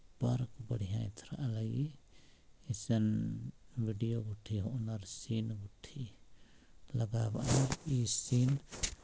बहुत बढ़िया ए देर लगी अइसन वीडियो यूडियो आनर शेयर हाट है लगावा ए सीन --